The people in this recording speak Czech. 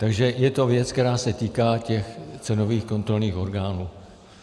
Takže je to věc, která se týká těch cenových kontrolních orgánů.